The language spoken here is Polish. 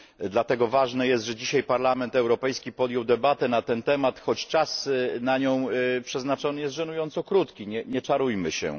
Dlatego ważne jest, że dzisiaj Parlament Europejski podjął debatę na ten temat, choć czas na nią przeznaczony jest żenująco krótki nie czarujmy się.